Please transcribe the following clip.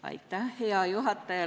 Hea juhataja!